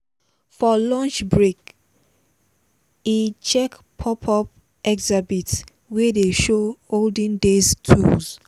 for lunch break he check pop-up exhibit wey dey show olden days tools.